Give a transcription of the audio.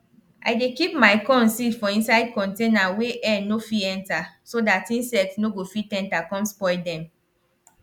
i dey keep my corn seed for inside container wey air nir fit enter so dat insect nor go fit enter com spoil dem